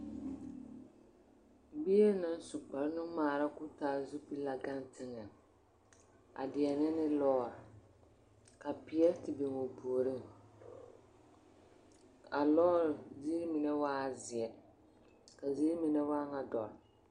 Bie naŋ su kpare nuŋmaara koo taa zupili la gaŋe teŋԑ a deԑnԑ ne lͻͻre. ka peԑ te biŋi o puoriŋ. A lͻͻre ziiri mine waa zeԑ ka ziiri mine waa ŋa dͻre.